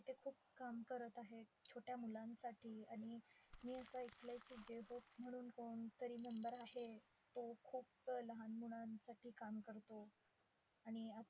आणि आता ते खूप काम करत आहेत, छोट्या मुलांसाठी. आणि मी असं ऐकलय की म्हणून कोणतरी member आहे तो खूप लहान मुलांसाठी काम करतो.